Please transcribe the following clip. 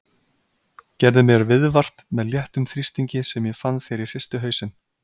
Gerði mér viðvart með léttum þrýstingi sem ég fann þegar ég hristi hausinn.